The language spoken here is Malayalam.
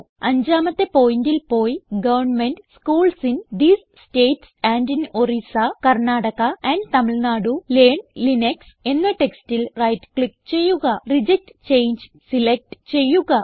അഞ്ചാമത്തെ പോയിന്റൽ പോയി government schools in these states and in Orissa Karnataka and Tamil Nadu learn Linux എന്ന ടെക്സ്റ്റിൽ റൈറ്റ് ക്ലിക്ക് ചെയ്യുക റിജക്ട് ചങ്ങെ സിലക്റ്റ് ചെയ്യുക